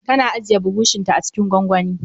Tana ajiye burushin ta acikin gwangwani